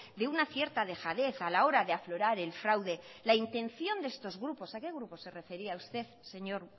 de una cierta dejadez a la hora de aflorar el fraude la intención de estos grupos a qué grupo se refería usted señor